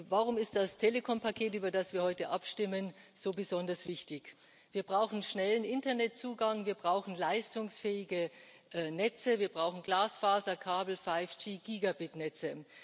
Warum ist das Telekompaket, über das wir heute abstimmen, so besonders wichtig? Wir brauchen schnellen Internetzugang, wir brauchen leistungsfähige Netze, wir brauchen Glasfaserkabel, 5G Gigabit Netze.